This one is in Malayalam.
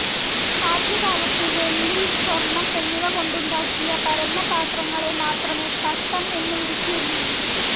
ആദ്യകാലത്ത് വെള്ളി, സ്വർണം എന്നിവകൊണ്ടുണ്ടാക്കിയ പരന്ന പാത്രങ്ങളെ മാത്രമേ തട്ടം എന്നു വിളിച്ചിരുന്നുള്ളൂ.